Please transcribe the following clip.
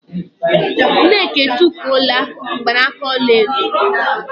Nneka e tufula n gbanaka ọla edo